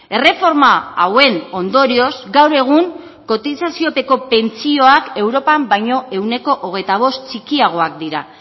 erreforma hauen ondorioz gaur egun kotizaziopeko pentsioak europan baino ehuneko hogeita bost txikiagoak dira